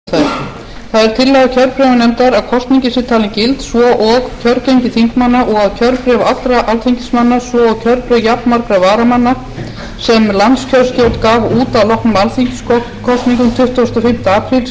það er tillaga kjörbréfanefndar að kosningin sé talin gild svo og kjörgengi þingmanna og kjörbréf allra alþingismanna svo og kjörbréf jafnmargra varamanna sem landskjörstjórn gaf út að loknum alþingiskosningum tuttugasta og fimmta apríl síðastliðnum sé